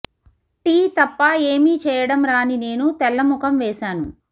tea తప్ప ఏమీ చేయడం రాని నేను తెల్ల ముఖం వేశాను